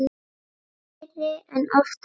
Fleiri en oft áður.